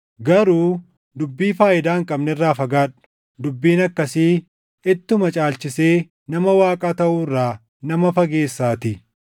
Garuu dubbii faayidaa hin qabne irraa fagaadhu; dubbiin akkasii ittuma caalchisee nama Waaqaa taʼuu irraa nama fageessaatii.